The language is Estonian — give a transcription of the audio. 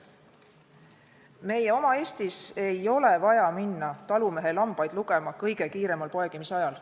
Meie oma Eestis ei ole vaja minna talumehe lambaid lugema kõige kiiremal poegimisajal.